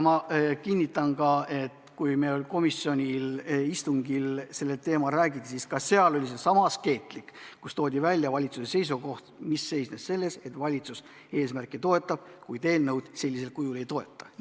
Ma kinnitan ka, et kui meil komisjoni istungil sellel teemal räägiti, siis ka see oli sama askeetlik: toodi välja valitsuse seisukoht, mis seisnes selles, et valitsus eesmärki toetab, kuid eelnõu sellisel kujul ei toeta.